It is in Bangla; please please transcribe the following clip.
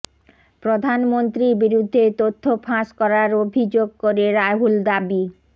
প্রধানমন্ত্রীর বিরুদ্ধে তথ্য ফাঁস করার অভিযোগ করে রাহুল দাবি